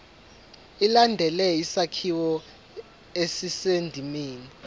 ilandele isakhiwo esisendimeni